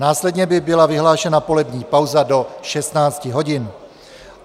Následně by byla vyhlášena polední pauza do 16 hodin.